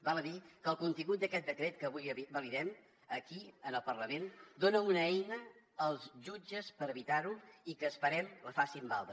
val a dir que el contingut d’aquest decret que avui validem aquí en el parlament dona una eina als jutges per evitar ho i esperem que la facin valdre